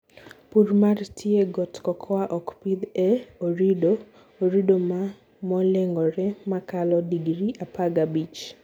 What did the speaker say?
Purr mar tie got: cocoa okpidh e orido (orido moleng'ore makalo degree apagabich)